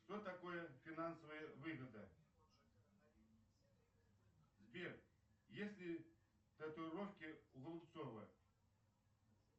что такое финансовая выгода сбер есть ли татуировки у голубцова